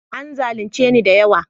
An zalunce ni da yawa